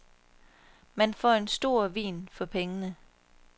Man får en stor vin for pengene.